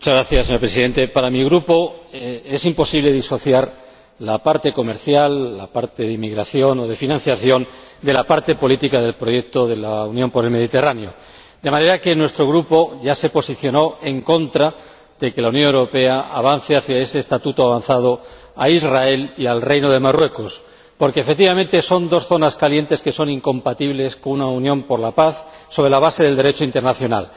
Señor Presidente, para mi Grupo es imposible disociar la parte comercial, la parte de inmigración o de financiación, de la parte política del proyecto euromediterráneo, de manera que nuestro Grupo ya se posicionó en contra de que la Unión Europea elevase a ese estatuto avanzado a Israel y al Reino de Marruecos, porque, efectivamente, son dos zonas calientes que son incompatibles con una unión por la paz, sobre la base del Derecho internacional.